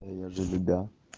я же любя